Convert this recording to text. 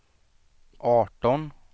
arton